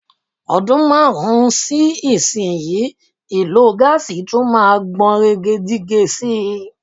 Ọdún márùn-ún sí ìsinyii, ìlò gáàsì tún máa gbọ̀nrẹ̀gẹ̀jigẹ̀ sí i.